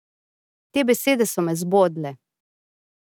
Te besede so me zbodle.